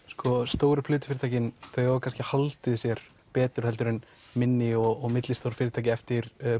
sko stóru plötu fyrirtækin þau hafa kannski haldið sér betur heldur en minni og millistór fyrirtæki eftir